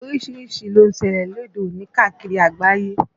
Orísìírísìí ló ń ṣẹlẹ̀ lóde òní káàkiri àgbáyé